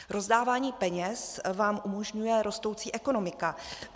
Rozdávání peněz vám umožňuje rostoucí ekonomika.